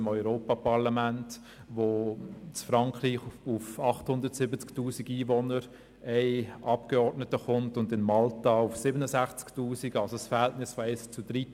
Das ist auch im Europaparlament der Fall, wo in Frankreich auf 870 000 Einwohner ein Abgeordneter und in Malta auf 67 000 kommen – also ein Verhältnis von eins zu 13.